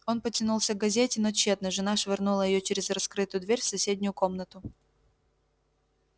он потянулся к газете но тщетно жена швырнула её через раскрытую дверь в соседнюю комнату